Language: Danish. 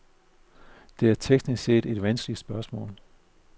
Det er, teknisk set, et vanskeligt spørgsmål.